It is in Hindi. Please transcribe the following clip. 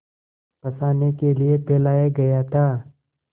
फँसाने के लिए फैलाया गया था